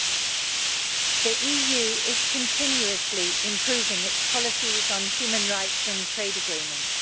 Mr President, the EU is continuously improving its policies on human rights and trade agreements.